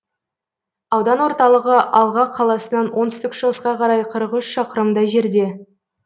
аудан орталығы алға қаласынан оңтүстік шығысқа қарай қырық үш шақырымдай жерде